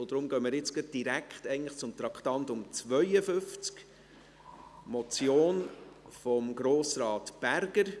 – Deshalb gehen wir jetzt direkt zu Traktandum 52, der Motion von Grossrat Berger.